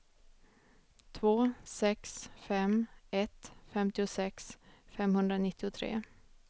två sex fem ett femtiosex femhundranittiotre